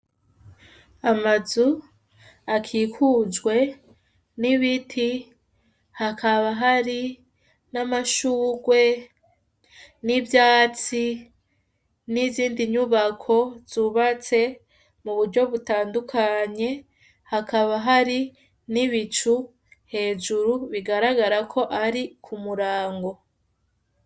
Amazu akikujwe n'ibiti hakaba hari n'amashurwe ,n'ivyatsi, n'izindi nyubako zubatse muburyo butandukanye ,hakaba hari n'ibicu hejuru bigaragara ko ari k'umurango.